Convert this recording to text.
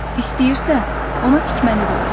İstəyirsə, ona tikməni də öyrədərəm.